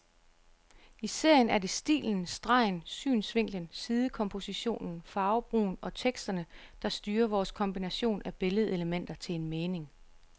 I serien er det stilen, stregen, synsvinklen, sidekompositionen, farvebrugen og teksterne der styrer vores kombination af billedelementer til en mening.